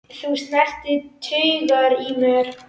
Þú snertir taugar í mér.